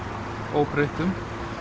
óbreyttum